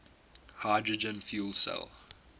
hydrogen fuel cell